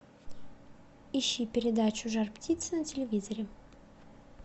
ищи передачу жар птица на телевизоре